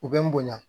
U bɛ n bonya